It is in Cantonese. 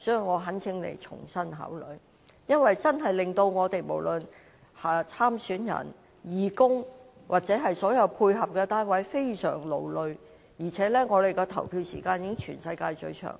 我懇請局長重新考慮，因為投票時間過長確實令參選人、義工及所有配合的單位均非常勞累，而且香港的投票時間屬全世界最長。